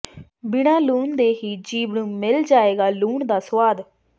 ਬਿਨਾਂ ਲੂਣ ਦੇ ਹੀ ਜੀਭ ਨੂੰ ਮਿਲ ਜਾਏਗਾ ਲੂਣ ਦਾ ਸੁਆਦ